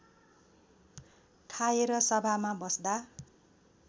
खाएर सभामा बस्दा